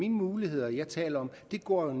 liberal